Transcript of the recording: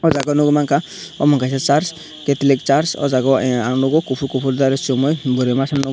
jaaga nug manka omo kaisa charge cathelik charch aw jaaga ang nugo kufur kufur chumui bwri masa nugo.